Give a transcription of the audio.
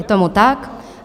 Je tomu tak.